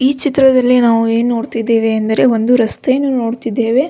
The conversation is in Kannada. ಈ ಚಿತ್ರದಲ್ಲಿ ನಾವು ಏನು ನೋಡ್ತಿದೇವೆ ಅಂದ್ರೆ ಒಂದು ರಸ್ತೆಯನ್ನು ನೋಡ್ತಿದೇವೆ.